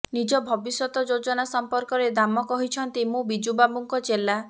ନିଜ ଭବିଷ୍ୟତ ଯୋଜନା ସମ୍ପର୍କରେ ଦାମ କହିଛନ୍ତି ମୁଁ ବିଜୁ ବାବୁଙ୍କ ଚେଲା